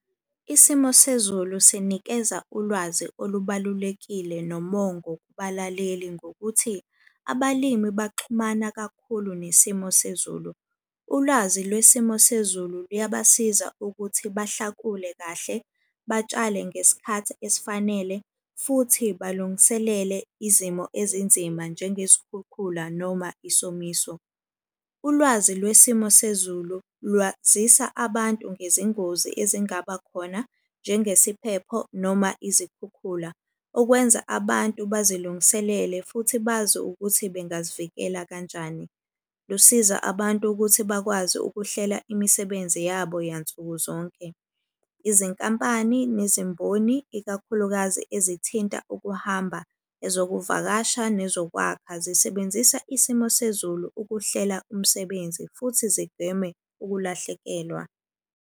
Isimo sezulu sinikeza ulwazi olubalulekile nomongo kubalaleli ngokuthi abalimi baxhumana kakhulu nesimo sezulu. Ulwazi lwesimo sezulu luyabasiza ukuthi bahlakule kahle, batshale ngesikhathi esifanele, futhi balungiselele izimo ezinzima njengezikhukhula noma isomiso. Ulwazi lwesimo sezulu lwazisa abantu ngezingozi ezingaba khona njengesiphepho noma izikhukhula. Okwenza abantu bazilungiselele futhi bazi ukuthi bengazivikela kanjani. Lusiza abantu ukuthi bakwazi ukuhlela imisebenzi yabo yansuku zonke. Izinkampani nezimboni, ikakhulukazi ezithinta ukuhamba, ezokuvakasha, nezokwakha zisebenzisa isimo sezulu ukuhlela umsebenzi futhi zigweme ukulahlekelwa.